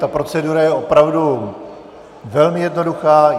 Ta procedura je opravdu velmi jednoduchá.